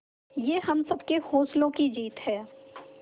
ये हम सबके हौसलों की जीत है